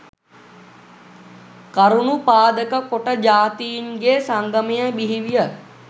කරුණු පාදක කොට ජාතීන්ගේ සංගමය බිහිවිය